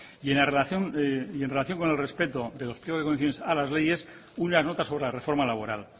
en relación con el respeto de los pliegos de condiciones a las leyes unas notas sobre la reforma laboral